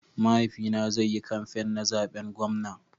Mahaifi na zai yi kamfain na zaɓen gwamna.